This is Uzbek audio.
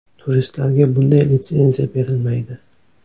Turistlarga bunday litsenziya berilmaydi.